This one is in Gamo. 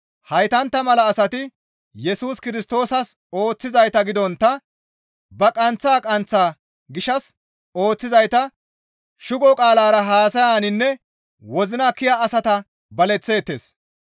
Heytantta mala asati Yesus Kirstoosas ooththizayta gidontta ba qanththa kaththa gishshas ooththizayta; shugo qaalara haasayaninne wozina kiya asata baleththeettes.